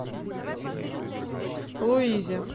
луизе